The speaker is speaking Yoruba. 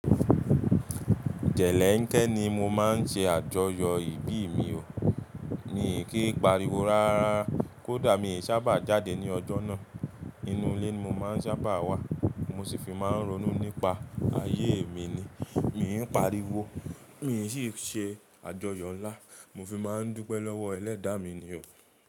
Jẹ̀léńkẹ́ ni mo máa ń ṣe àjọyọ̀ ìbí mi o. Mi kìí pariwo rárá, kó dà mi ò sábà jáde ní ọjọ́ náà. Inú ilé ni mo máa ń sábà wà. Mo sì fi máa ń ronú nípa ayé mi ni. Mi ń pariwo, mi ń sì ṣe àjọyọ̀ ńlá. Mo fi máa ń dúpẹ́ lọ́wọ́ Ẹlẹ́dàá mi ni o.